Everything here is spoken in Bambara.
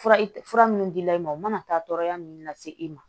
Fura fura minnu dila i ma u mana taa tɔɔrɔya minnu lase i ma